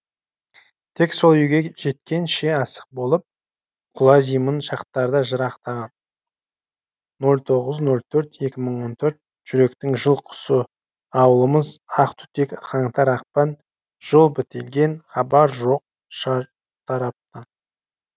тек сол үйге жеткенше асық болып құлазимын шақтарда жырақтаған нөл тоғыз нөл төрт екі мың он төрт жүректің жыл құсы ауылымыз ақ түтек қаңтар ақпан жол бітелген хабар жоқ шартараптан